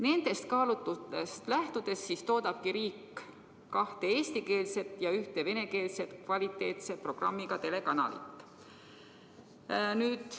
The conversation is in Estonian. Nendest kaalutlustest lähtudes peab riik ülal kahte eestikeelse ja ühte venekeelse kvaliteetse programmiga telekanalit.